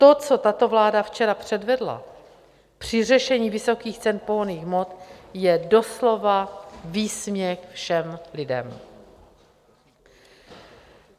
To, co tato vláda včera předvedla při řešení vysokých cen pohonných hmot, je doslova výsměch všem lidem.